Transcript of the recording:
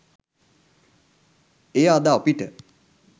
එය අද අපිට